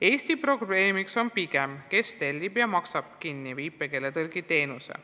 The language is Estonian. Eesti probleem on aga, kes tellib ja maksab kinni viipekeeletõlgi töö.